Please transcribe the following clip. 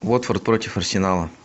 уотфорд против арсенала